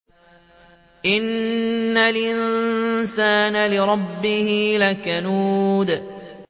إِنَّ الْإِنسَانَ لِرَبِّهِ لَكَنُودٌ